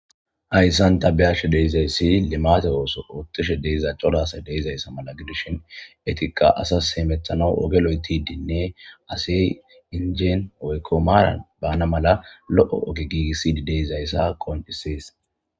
Hayssan tabiyashe deyzayssi limate ooso oottishe deza codasay deizayssa mala gidushin etiqa asas heemethano oge lo'etidinne asey injeen oykko maaran baana mala lo'o ogi giigissi di deizayssa qondisees